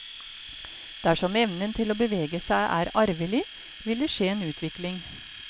Dersom evnen til å bevege seg er arvelig, vil det skje en utvikling.